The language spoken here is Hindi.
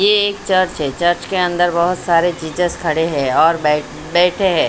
ये एक चर्च है चर्च के अंदर बहुत सारे जीजस खड़े हैं और बैठे हैं।